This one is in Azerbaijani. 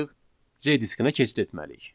C diskinə keçid etməliyik.